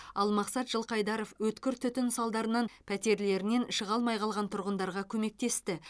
ал мақсат жылқайдаров өткір түтін салдарынан пәтерлерінен шыға алмай қалған тұрғындарға көмектесті